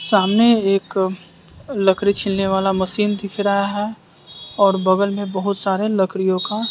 सामने एक लकड़ी छिलने वाला मशीन दिख रहा है और बगल में बहोत सारे लकड़ियों का--